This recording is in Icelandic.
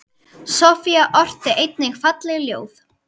Soffía orti einnig falleg ljóð.